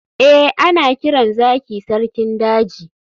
eh, ana kiran zaki sarkin daji